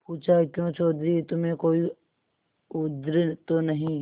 पूछाक्यों चौधरी तुम्हें कोई उज्र तो नहीं